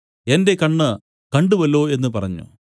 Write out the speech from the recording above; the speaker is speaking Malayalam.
എന്റെ കണ്ണ് കണ്ടുവല്ലോ എന്നു പറഞ്ഞു